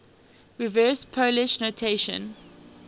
reverse polish notation